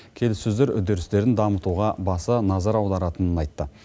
келіссөздер үдерістерін дамытуға баса назар аударатынын айтты